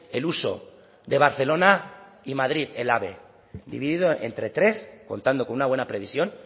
el uso de barcelona y madrid el ave dividido entre tres contando con una buena previsión